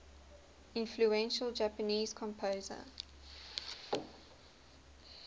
influential japanese composer